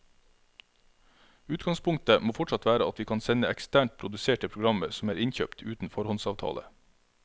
Utgangspunktet må fortsatt være at vi kan sende eksternt produserte programmer som er innkjøpt uten foråndsavtale.